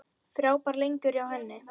Frábær leikur hjá henni.